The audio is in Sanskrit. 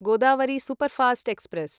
Godavari superfast express